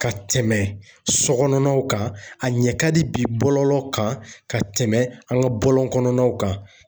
Ka tɛmɛ so kɔnɔnaw kan ,a ɲɛ ka di bilɔlɔw kan ka tɛmɛ an ka bɔlɔn kɔnɔnaw kan.